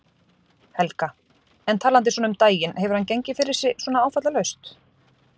Helga: En talandi svona um daginn, hefur hann gengið fyrir sig svona áfallalaust?